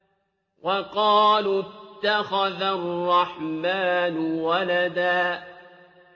وَقَالُوا اتَّخَذَ الرَّحْمَٰنُ وَلَدًا